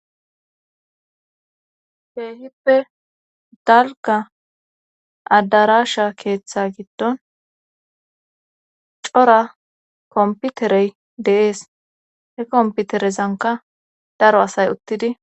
Keehippe dalga adarasha keeththe giddon cora komputerey deees he komputerezanka daro asay uttidi